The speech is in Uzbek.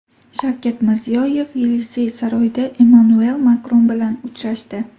Shavkat Mirziyoyev Yelisey saroyida Emmanuel Makron bilan uchrashdi.